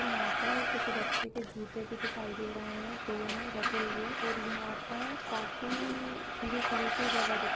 और यहाँ पे किसी बच्चे के जूते भी दिखाई दे रहे हैं दोनो रखें हुए हैं और यहाँ पे काफी खुली-खुली सी जगह दिखाई --